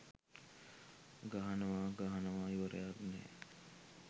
ගහනවා ගහනවා ඉවරයක් නෑ